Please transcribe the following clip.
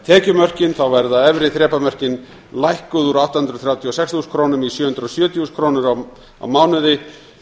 tekjumörkin verða efri þrepamörkin lækkuð úr átta hundruð þrjátíu og sex þúsund krónum í sjö hundruð og sjötíu þúsund krónur á mánuði